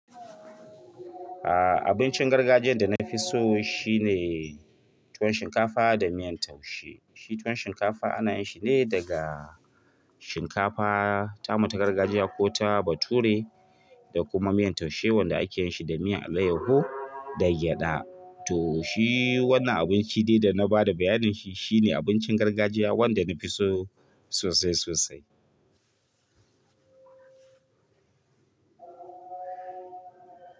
Aaa, abincin gargajiyan da na fi so shine tuwon shinkafa da miyan taushe. Shi tuwon shinkafa ana yinshi ne daga shinkafa tamu ta gargajiya ko ta bature da kuma miyan taushe wanda ake yinshi da miyan alayyahu da gyaɗa. To shi wannan abinci de dana bada bayanin shi shine abincin gargajiya wanda nafi so sosai sosai.